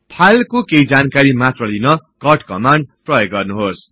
फाईलको केही जानकारी मात्रलिन कट कमान्ड प्रयोग गर्नुहोस्